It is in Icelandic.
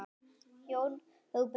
Jón Róbert og Hlíf.